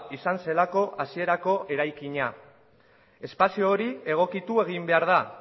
izan zelako hasierako eraikina espazio hori egokitu egin behar da